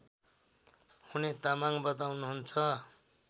हुने तामाङ बताउनुहुन्छ